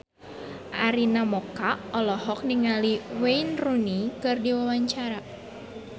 Arina Mocca olohok ningali Wayne Rooney keur diwawancara